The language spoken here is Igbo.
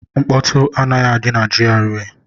Nkpọtu anaghị adị na GRA